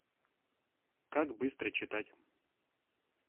как быстро читать